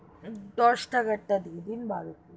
দশ টাকার তা দিয়ে দিন, বারো টি,